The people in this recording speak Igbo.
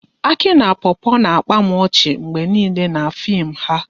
Aki na Popo na-akpa m ọchị mgbe nile n'fim ha